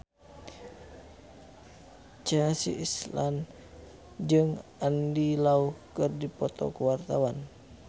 Chelsea Islan jeung Andy Lau keur dipoto ku wartawan